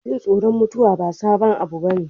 Jin tsoron mutuwa ba sabon abu bane.